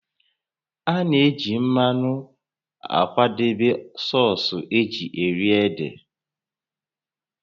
A na-eji mmanụ akwadebe sọọsụ́ eji eri ede